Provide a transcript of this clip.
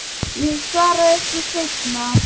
Ég svara ykkur seinna.